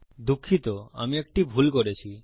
দুঃখিতআমি একটি ভুল করেছি